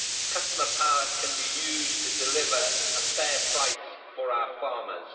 Customer power can be used to deliver a fair price for our farmers.